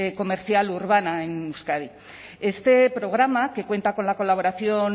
comercial urbana en euskadi este programa que cuenta con la colaboración